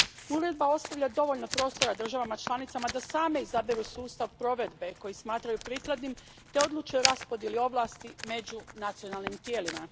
Uredba ostavlja dovoljno prostora državama članicama da same izaberu sustav provedbe koji smatraju prikladnim te odluče o raspodjeli ovlasti među nacionalnim tijelima.